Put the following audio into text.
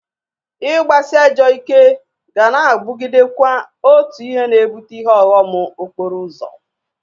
Ị gbasị ajọọ ike ga na-abụgidekwa otu ihe na-ebụte ihe ọghọm okporo ụzọ